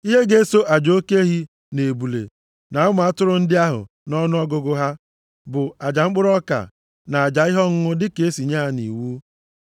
Ihe ga-eso aja oke ehi, na ebule, na ụmụ atụrụ ndị ahụ nʼọnụọgụgụ ha bụ aja mkpụrụ ọka, na aja ihe ọṅụṅụ dịka e si nye ya nʼiwu.